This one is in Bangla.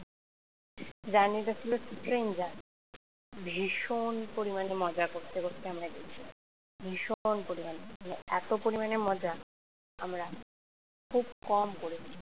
journey টা ছিল ভীষণ পরিমাণে মজা করতে করতে আমরা গেছি ভীষণ পরিমাণে এত পরিমাণে মজা আমরা খুব কম করেছি।